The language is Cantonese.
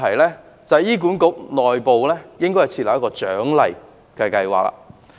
此外，醫管局內部應設立獎勵計劃。